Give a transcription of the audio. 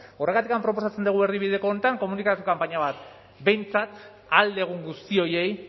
horregatik proposatzen dugu erdibideko honetan komunikazio kanpaina bat behintzat ahal dugun guzti horiei